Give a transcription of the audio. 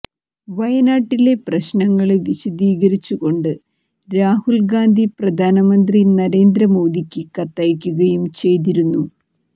വയനാട്ടിലെ പ്രശ്നങ്ങള് വിശദീകരിച്ചു കൊണ്ട് രാഹുല് ഗാന്ധി പ്രധാനമന്ത്രി നരേന്ദ്ര മോദിയ്ക്ക് കത്തയക്കുകയും ചെയ്തിരുന്നു